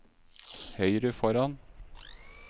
høyre foran